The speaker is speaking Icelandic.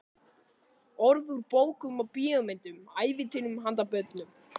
Orð úr bókum og bíómyndum, ævintýrum handa börnum.